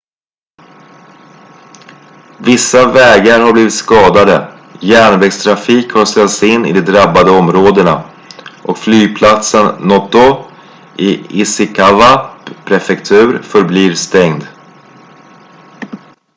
vissa vägar har blivit skadade järnvägstrafik har ställts in i de drabbade områdena och flygplatsen noto i ishikawa prefektur förblir stängd